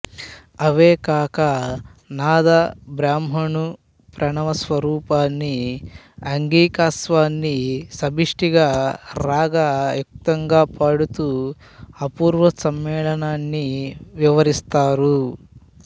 అవే కాక నాథ బ్రహ్మను ప్రణవ స్వరూపాన్నీ అంగికా స్వాన్ని సమష్టిగా రాగ యుక్తంగా పాడుతూ అపూర్వ సమ్మేళనాన్ని వివరిస్తారు